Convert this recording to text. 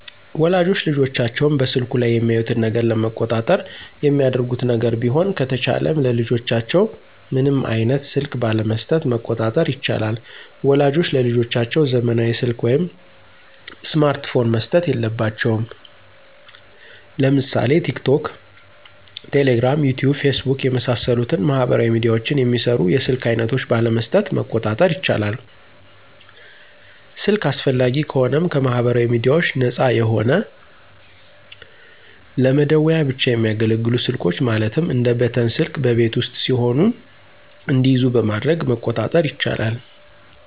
ወላጆች ልጆቻቸውን በስልኩ ላይ የሚያዩትን ነገር ለመቆጣጠር የሚያደርጉት ነገር ቢሆን ከተቻለም ለልጆቻቸው ምንም አይነት ስልክ ባለመሥጠት መቆጣጠር ይቻላል። ወላጆች ለልጆቻቸው ዘመናዊ ሰልክ ወይም ስማርት ፖን መስጠት የለባቸውም። ለምሳሌ ቲክቶክ፣ ቴሌግራም፣ ዩቲዩብ፣ ፌስቡክ የመሣሠሉትን ማህበራዊ ሚድያዎችን የሚሰሩ የስልክ አይነቶች ባለመስጠት መቆጣጠር ይቻላል። ስልክ አስፈላጊ ከሆነም ከማህበራዊ ሚድያዎች ነፃ የሆነ ለመደዋወያ ብቻ የሚያገለግሉ ስልኮች ማለትም እንደ በተን ስልክ በቤት ውስጥ ሲሆኑ እንዲይዙ በማድረግ መቆጣጠር ይቻላል።